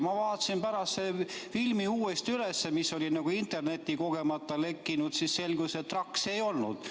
Ma vaatasin pärast selle filmiklipi uuesti üle, mis oli internetti kogemata lekkinud, ja siis selgus, et trakse ei olnud.